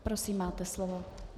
Prosím, máte slovo.